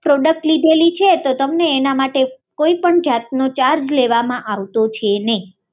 product લીધેલી છે તો તમને એના માટે કોઈપણ જાતનો ચાર્જ લેવામાં આવતો છે નઈ